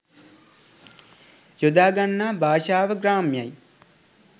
යොදාගන්නා භාෂාව ග්‍රාම්‍යයි